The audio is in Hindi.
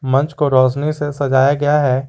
मंच को रोशनी से सजाया गया है।